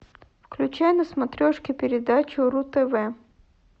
включай на смотрешке передачу ру тв